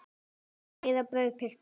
Meira brauð, piltar?